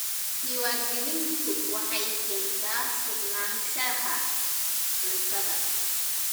Diiwaangelintu waxay keentaa sugnaanshaha cuntada.